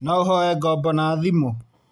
No ũhoe ngombo na thimũ